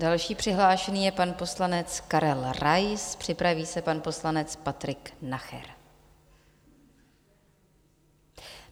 Další přihlášený je pan poslanec Karel Rais, připraví se pan poslanec Patrik Nacher.